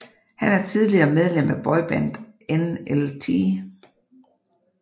Han er tidligere medlem af boybandet NLT